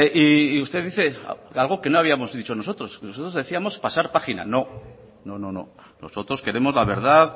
y usted dice algo que no habíamos dicho nosotros nosotros decíamos pasar página no no nosotros queremos la verdad